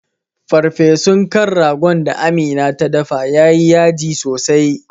Farfesun kan ragon da amina ta dafa yayi yaji sosai